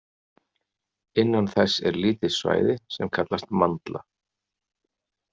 Innan þess er lítið svæði sem kallast mandla.